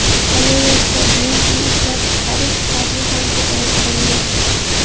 Qolaversa, benzin ishlab chiqarish hajmi ham ko‘paytirildi.